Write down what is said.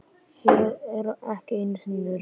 Hér eru ekki einu sinni runnar.